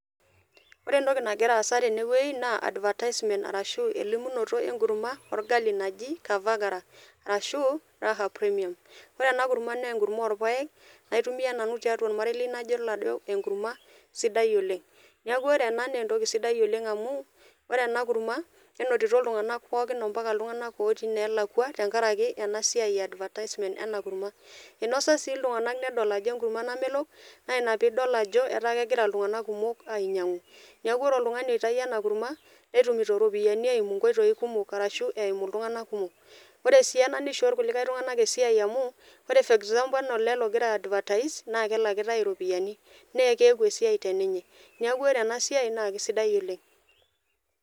Ore entoki nagira aasa teneweji naa advertisement arashu elimunoto enkurumwa olgali najii kavagara arashuu raha premium, ore ena kurumwa naa enkurumwa orpaek naitumiya nanu tiatua ormarei lai nadol ajo enkurumwa sidai oleng, neaku ore ena naa entoki sidai oleng amuu, ore ena kurumwa nenotito ltunganak pookin empaka ltunganak lotii nelakwa tengaraki e ena siai e advertisement ena kurumwa, einoso sii ltunganak nedol ajo nkurumwa namelok naa ina piidol ajo etaa kegira ltunganak kumok ainyangu, neaku ore oltungani oitaiya ena kurumwa netumuto iropiyiani eimu nkoitoi kumok arashu eimu ltunganak kumok, ore sii ena neishoo ltunganak kumok esiai amuu, ore for example ale ogira aidvatais naa kelakitae iropiyiani naa keaku esiai te ninuye, neaku ore ena siai naa kesidai oleng.